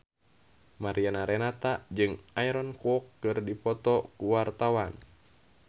Mariana Renata jeung Aaron Kwok keur dipoto ku wartawan